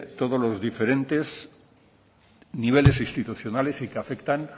todo los diferentes niveles institucionales y que afectan